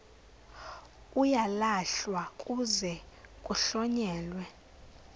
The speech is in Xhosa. uyalahlwa kuze kuhlonyelwe